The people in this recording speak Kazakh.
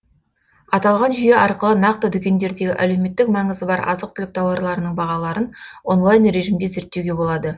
аталған жүйе арқылы нақты дүкендердегі әлеуметтік маңызы бар азық түлік тауарларының бағаларын онлайн режимде зерттеуге болады